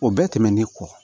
O bɛɛ tɛmɛnen kɔ